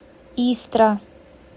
истра